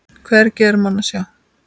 Hvergi er mann að sjá.